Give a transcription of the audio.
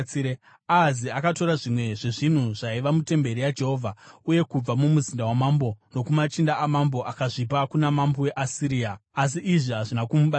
Ahazi akatora zvimwe zvezvinhu zvaiva mutemberi yaJehovha, uye kubva mumuzinda wamambo nokumachinda amambo, akazvipa kuna mambo weAsiria, asi izvi hazvina kumubatsira.